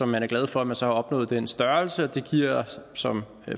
man er glad for at man så har opnået den størrelse og det giver som